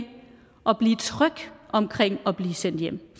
at blive tryg omkring at blive sendt hjem